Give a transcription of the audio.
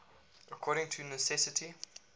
according to necessity